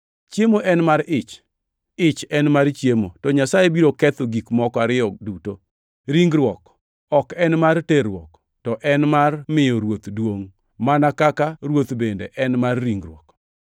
“Chiemo en mar ich, ich en mar chiemo,” to Nyasaye biro ketho gik moko ariyo duto. Ringruok ok en mar terruok, to en mar miyo Ruoth duongʼ, mana kaka Ruoth bende en mar ringruok.